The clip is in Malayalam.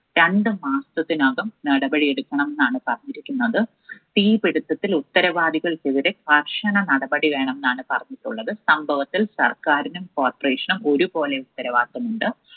രണ്ടു മാസത്തിനകം നടപടി എടുക്കണം എന്നാണ് പറഞ്ഞിരിക്കുന്നത്. തീപിടുത്തത്തിൽ ഉത്തരവാദികൾക്കെതിരെ കർശന നടപടി വേണം എന്നാണ് പറഞ്ഞിരിക്കുന്നത്. സംഭവത്തിൽ സർക്കാരിനും Corporation നും ഒരുപോലെ ഉത്തരവാദിത്വമുണ്ട്.